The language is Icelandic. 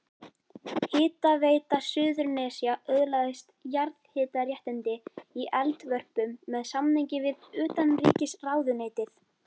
Hitaveita Suðurnesja öðlaðist jarðhitaréttindi í Eldvörpum með samningi við utanríkisráðuneytið.